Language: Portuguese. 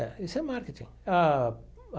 É, isso é marketing ah.